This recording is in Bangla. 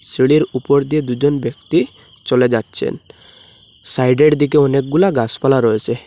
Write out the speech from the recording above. সিঁড়ির উপর দিয়ে দুজন ব্যক্তি চলে যাচ্ছেন সাইডের দিকে অনেকগুলা গাছপালা রয়েসে।